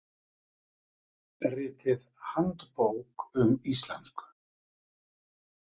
Ritið Handbók um íslensku.